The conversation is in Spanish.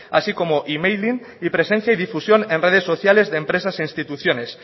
así como emailing y presencia y difusión en redes sociales de empresas e instituciones